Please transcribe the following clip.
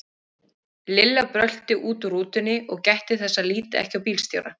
Lilla brölti út úr rútunni og gætti þess að líta ekki á bílstjórann.